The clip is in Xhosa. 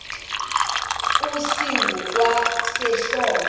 esingu kwa sehlelo